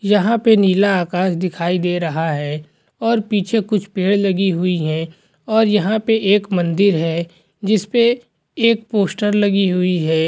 यहाँ पे नीला आकाश दिखाई दे रहा है और पीछे कुछ पेड़ लगी हुई है और यह पे एक मंदिर है जिसपे एक पोस्टर लगी हुई है।